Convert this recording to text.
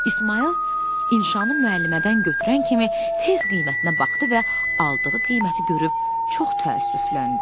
İsmayıl inşanı müəllimədən götürən kimi tez qiymətinə baxdı və aldığı qiyməti görüb çox təəssüfləndi.